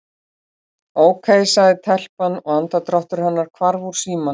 Ókei- sagði telpan og andardráttur hennar hvarf úr símanum.